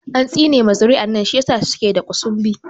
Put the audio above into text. An tsine ma zuri'an nan shi ya sa suke da ƙusunbi